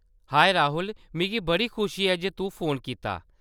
हाए, राहुल ! मिगी बड़ा खुशी ऐ जे तूं फोन कीता।